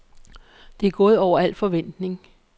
Det er gået over al forventning.